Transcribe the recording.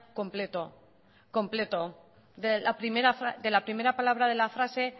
completo completo de la primera palabra de la frase